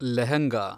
lehenga